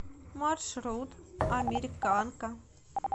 маршрут американка